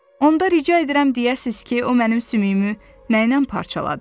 Onda rica edirəm deyəsiz ki, o mənim sümüyümü nəylə parçaladı.